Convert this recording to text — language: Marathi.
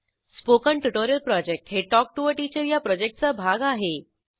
स्पोकन ट्युटोरियल प्रॉजेक्ट हे टॉक टू टीचर या प्रॉजेक्टचा भाग आहे